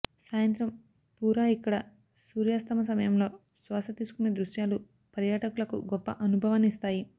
సాయంత్రం పూరా ఇక్కడ సూర్యాస్తమ సమయంలో శ్వాసతీసుకునే దృశ్యాలు పర్యాటకులకు గొప్ప అనుభవాన్ని ఇస్తాయి